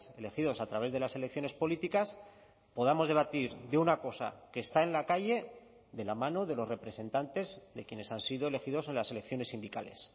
elegidos a través de las elecciones políticas podamos debatir de una cosa que está en la calle de la mano de los representantes de quienes han sido elegidos en las elecciones sindicales